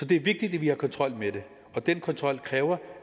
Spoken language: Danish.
det vigtigt at vi har kontrol med det og den kontrol kræver